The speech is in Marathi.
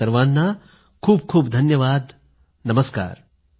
आपल्या सर्वांना खूप खूप धन्यवाद नमस्कार